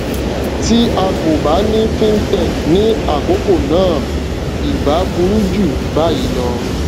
tí a kò bá ní fintech ní àkókò náà ì bá burú jù báyìí lọ